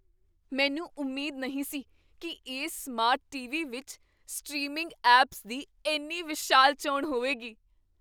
ਮੈਨੂੰ ਉਮੀਦ ਨਹੀਂ ਸੀ ਕੀ ਇਸ ਸਮਾਰਟ ਟੀਵੀ ਵਿੱਚ ਸਟ੍ਰੀਮਿੰਗ ਐਪਸ ਦੀ ਇੰਨੀ ਵਿਸ਼ਾਲ ਚੋਣ ਹੋਵੇਗੀ!